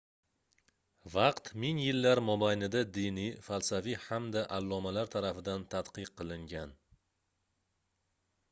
vaqt ming yillar mobayida diniy falsafiy hamda allomalar tarafidan tadqiq qilingan